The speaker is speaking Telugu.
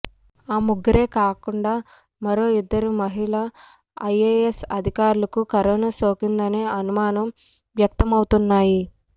ఈ ముగ్గురే కాకుండా మరో ఇద్దరు మహిళా ఐఎఎస్ అధికారులకు కరోనా సోకిందనే అనుమానాలు వ్యక్తమౌతున్నాయి